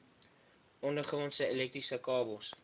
ondergrondse elektriese kabels